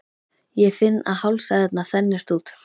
Ég finn að hálsæðarnar þenjast út.